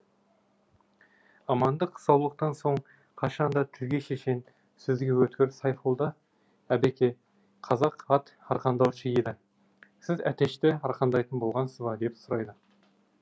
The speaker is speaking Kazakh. амандық саулықтан соң қашанда тілге шешен сөзге өткір сайфолда әбеке қазақ ат арқандаушы еді сіз әтешті арқандайтын болғасыз ба деп сұрайды